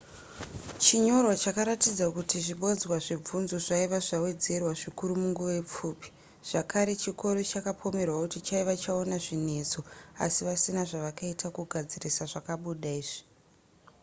chinyorwa chakaratidza kuti zvibodzwa zvebvunzo zvaiva zvawedzera zvikuru munguva pfupi zvakare chikoro chakapomerwa kuti chaiva chaona zvinetso asi vasina zvavakaita kugadzirisa zvakabuda izvi